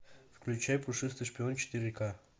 включай пушистый шпион четыре к